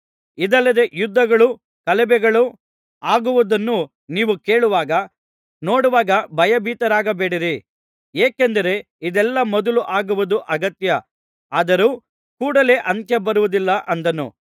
ಇದಲ್ಲದೆ ಯುದ್ಧಗಳೂ ಗಲಭೆಗಳೂ ಆಗುವುದನ್ನು ನೀವು ಕೇಳುವಾಗ ನೋಡುವಾಗ ಭಯಭೀತರಾಗಬೇಡಿರಿ ಏಕೆಂದರೆ ಇದೆಲ್ಲಾ ಮೊದಲು ಆಗುವುದು ಅಗತ್ಯ ಆದರೂ ಕೂಡಲೆ ಅಂತ್ಯ ಬರುವುದಿಲ್ಲ ಅಂದನು